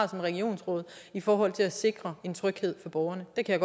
regionsråd i forhold til at sikre en tryghed for borgerne det kan